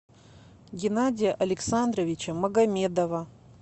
геннадия александровича магомедова